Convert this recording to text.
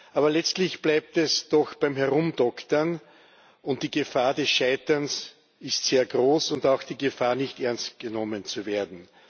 aber letztlich bleibt es doch beim Herumdoktern, und die Gefahr des Scheiterns ist sehr groß und auch die Gefahr, nicht ernst genommen zu werden.